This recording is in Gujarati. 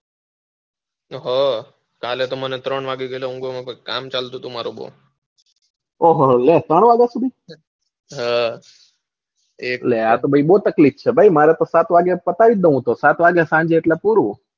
કાલે તો મને ત્રણ વાગ્યા પેલા ઊંઘવાનું કામ ચાલતું હતું મારુ ઓહ લે ત્રણ વાગ્યા સુધી હમ અલ્યા આતો બૌ તકલીફ છે મારે તો સાત વાગે પતાવી દઉં હું તો સાત વાગ્યા સાંજે એટલે પૂરું.